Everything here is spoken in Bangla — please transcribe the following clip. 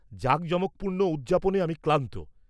-জাঁকজমকপূর্ণ উদযাপনে আমি ক্লান্ত।